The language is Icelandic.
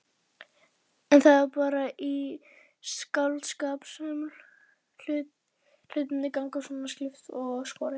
En það er bara í skáldskap sem hlutirnir ganga svona klippt og skorið.